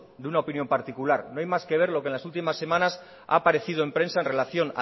de una opinión particular no hay más que ver lo que en las últimas semanas ha aparecido en prensa en relación